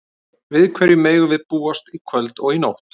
Við hverju megum við búast í kvöld og í nótt?